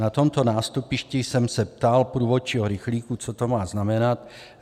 Na tomto nástupišti jsem se ptal průvodčího rychlíku, co to má znamenat.